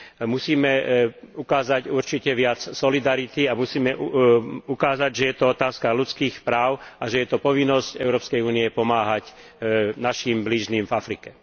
Musíme ukázať určite viac solidarity a musíme ukázať, že je to otázka ľudských práv a že je to povinnosť EÚ pomáhať našim blížnym v Afrike.